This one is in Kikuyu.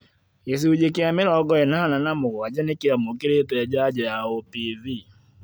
gĩcunjĩ kĩa mĩrongo ĩnana na mũgwanja nĩkĩamũkĩrĩte njanjo ya OPV